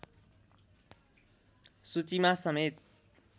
सूचीमा समेत